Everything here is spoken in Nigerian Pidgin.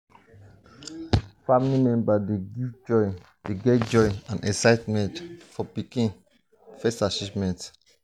family members dey get joy and excitement for pikin first achievements.